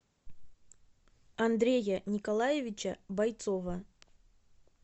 андрея николаевича бойцова